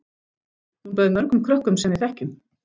Hún bauð mörgum krökkum sem við þekkjum.